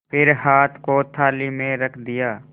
फिर हाथ को थाली में रख दिया